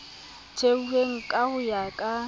theilweng ka ho ya ka